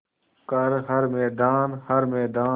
कर हर मैदान हर मैदान